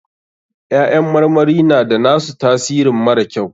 Ƴaƴan marmari na da na su tasirin mara kyau.